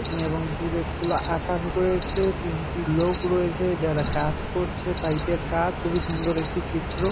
এবং দূরে খোলা আকাশে রয়েছে তিনটি লোক রয়েছে যারা কাজ করছে পাইপ -এর কাজ খুবই সুন্দর একটি চিত্র।